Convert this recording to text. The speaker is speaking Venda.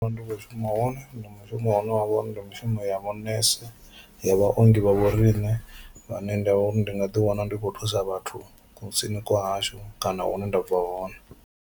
Ndi khou shuma hone ndi mushumo une wa vha uri ndi mushumo ya vhunese ya vhaongi vha vho riṋe vhane nda vhori ndi nga ḓi wana ndi khou thusa vhathu kusini kwa hashu kana hune nda bva hone.